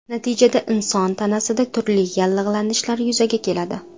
Natijada inson tanasida turli yallig‘lanishlar yuzaga keladi.